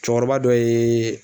Cɛkɔrɔba dɔ ye